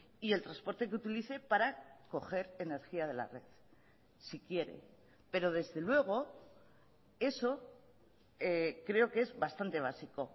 y el transporte que utilice para coger energía de la red si quiere pero desde luego eso creo que es bastante básico